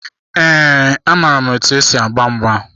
Ee, amaara m otu esi agba mgba.